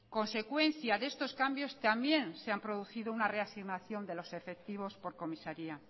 consecuencia de estos cambios también se ha producido una reasignación de los efectivos por comisaría